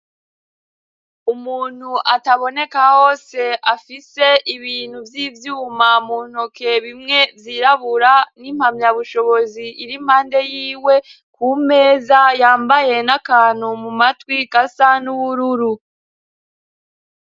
Umuntu ataboneka hose afise ibintu vy'ivyuma mu ntoke bimwe vyirabura n'impamyabushobozi iri mpande y'iwe ku meza, yambaye n'akantu mu matwi gasa n'ubururu.